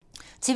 TV 2